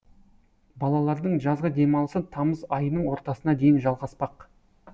балалардың жазғы демалысы тамыз айының ортасына дейін жалғаспақ